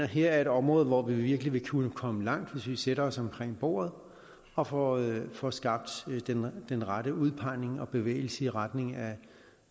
her er et område hvor vi virkelig vil kunne komme langt hvis vi sætter os omkring bordet og får og får skabt den rette udpegning og bevægelse i retning af